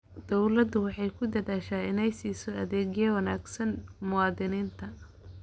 Dawladdu waxay ku dadaashaa inay siiso adeeg wanaagsan muwaadiniinta.